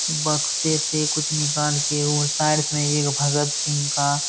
बक्से से कुछ निकाल के वो साइडस में एक भगत सिंह का --